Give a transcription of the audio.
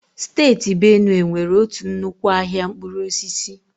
Steeti Benue nwere otu nnukwu ahịa mkpụrụ osisi.